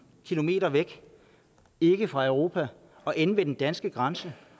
kilometer væk ikke fra europa ende ved den danske grænse